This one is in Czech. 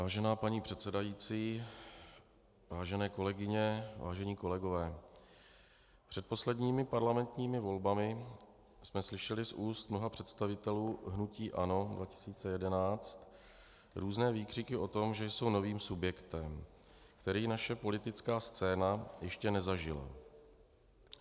Vážená paní předsedající, vážené kolegyně, vážení kolegové, před posledními parlamentními volbami jsme slyšeli z ústa mnoha představitelů hnutí ANO 2011 různé výkřiky o tom, že jsou novým subjektem, který naše politická scéna ještě nezažila.